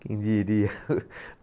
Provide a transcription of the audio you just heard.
Quem diria!